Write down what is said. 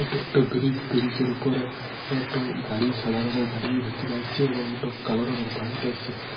এটা একটো ব্রিজ । ব্রিজে র উপরে একটো গাড়ি সাদা রঙের গাড়ি উধার থেকে আইসছে এবং একটো কালো রঙের বাইক আইসছে।